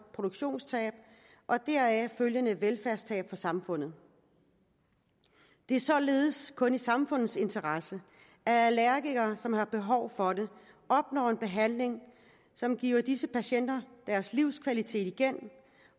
produktionstab og deraf følgende velfærdstab for samfundet det er således kun i samfundets interesse at allergikere som har behov for det opnår en behandling som giver disse patienter deres livskvalitet igen